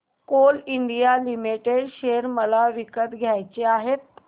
Coal India Limited share मला विकत घ्यायचे आहेत